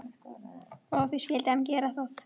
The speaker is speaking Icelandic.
Og því skyldi hann gera það.